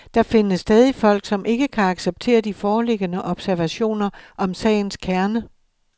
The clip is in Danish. Der findes stadig folk, som ikke kan acceptere de foreliggende observationer om sagens kerne.